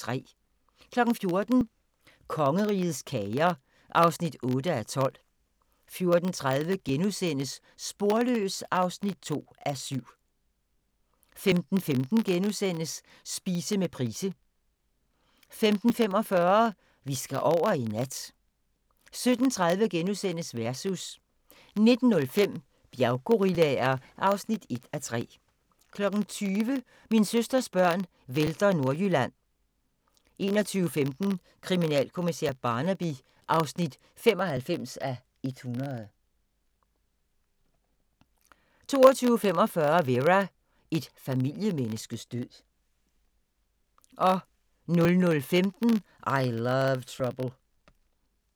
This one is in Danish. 14:00: Kongerigets kager (8:12) 14:30: Sporløs (2:7)* 15:15: Spise med Price * 15:45: Vi skal over i nat 17:30: Versus * 19:05: Bjerggorillaer (1:3) 20:00: Min søsters børn vælter Nordjylland 21:15: Kriminalkommissær Barnaby (95:100) 22:45: Vera: Et familiemenneskes død 00:15: I Love Trouble